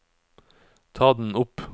ta den opp